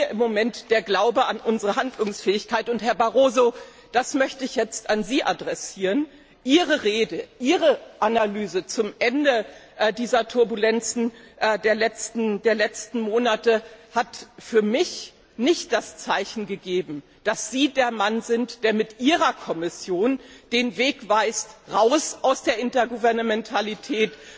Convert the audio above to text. im Moment der Glaube an unsere Handlungsfähigkeit fehlt. Herr Barroso, das möchte ich jetzt an Sie adressieren Ihre Rede, Ihre Analyse zum Ende dieser Turbulenzen der letzten Monate hat für mich nicht das Zeichen gegeben, dass Sie der Mann sind, der mit seiner Kommission den Weg weist, raus aus der Intergouvernementalität,